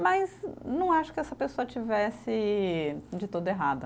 Mas não acho que essa pessoa tivesse de tudo errada.